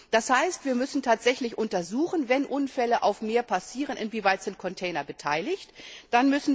Das heißt, wir müssen tatsächlich untersuchen, wenn Unfälle auf dem Meer passieren, inwieweit Container beteiligt sind.